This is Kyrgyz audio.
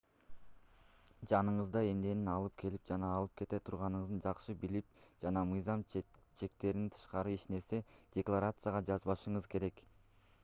жаныңызда эмнени алып келип жана алып кете турганыңызды жакшы билип жана мыйзам чектеринен тышкары эч нерсени декларацияга жазбашыңыз керек